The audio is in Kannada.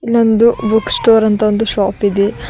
ನಮ್ದು ಬುಕ್ ಸ್ಟೋರ್ ಅಂತ ಒಂದು ಶಾಪ್ ಇದೆ.